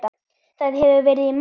Það hefur verið í mótun.